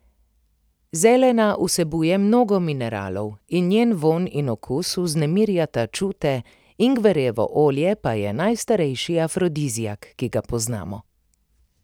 Zelena vsebuje mnogo mineralov in njen vonj in okus vznemirjata čute, ingverjevo olje pa je najstarejši afrodiziak, ki ga poznamo.